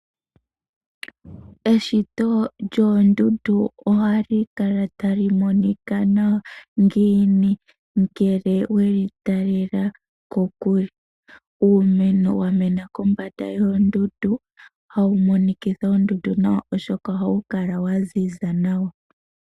Eshito lyoondundu ohali kala ta li monika nawa ngiini ngele we li talela kokule. Uumeno wa mena kombanda yoondundu ota wu monikitha oondundu nawa oshoka oha wu kala wa ziza nawa.